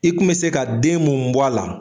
I kun bɛ se ka den mun bɔ a la